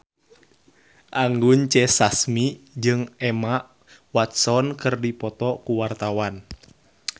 Anggun C. Sasmi jeung Emma Watson keur dipoto ku wartawan